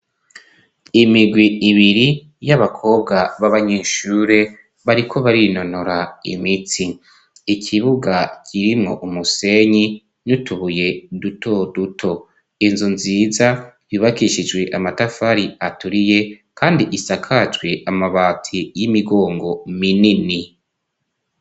Imigwi ibiri y'abakobwa b'abanyeshure, bariko barinonora imitsi, ikibuga kirimwo umusenyi n'utubuye duto duto, inzu nziza yubakishijwe amatafari aturiye kandi isakajwe amabati y'imigongo minini.